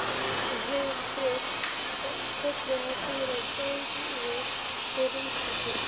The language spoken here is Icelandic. Hún heyrði þrusk og kollurinn á Týra gægðist yfir rúmstokkinn.